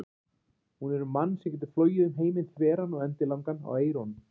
Hún er um mann sem getur flogið um heiminn þveran og endilangan á eyrunum.